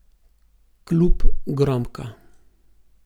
Klub Gromka.